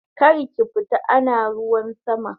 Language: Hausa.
Karki fita ana ruwan sama!